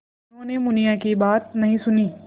उन्होंने मुनिया की बात नहीं सुनी